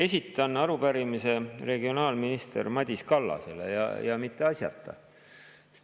Esitan arupärimise regionaalminister Madis Kallasele ja mitte asjata.